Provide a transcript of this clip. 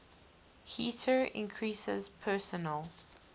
heater increases personal